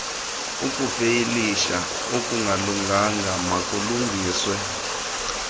ukufayilisha okungalunganga makulungiswe